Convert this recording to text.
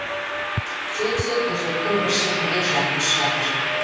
сөйтсе төсектің бір шетінде жакош жатыр